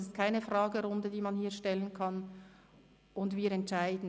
Es ist keine Fragerunde mit Fragen, die man hier stellen kann, um dann zu entscheiden.